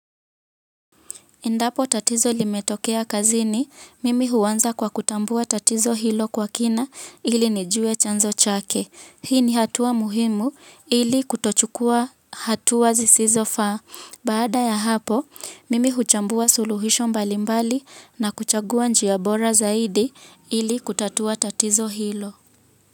Endapo tatizo limetokea kazini, mimi huanza kwa kutambua tatizo hilo kwa kina ili nijue chanzo chake. Hii ni hatua muhimu ili kutochukua hatua zisizofaa. Baada ya hapo, mimi huchambua suluhisho mbalimbali na kuchagua njia bora zaidi ili kutatua tatizo hilo.